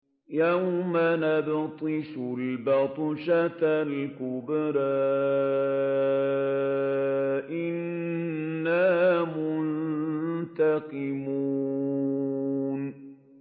يَوْمَ نَبْطِشُ الْبَطْشَةَ الْكُبْرَىٰ إِنَّا مُنتَقِمُونَ